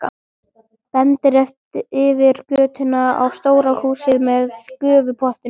Bendir yfir götuna á stóru húsin með gufupottunum.